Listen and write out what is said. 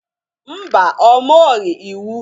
Mba, ọ mụọghị iwu.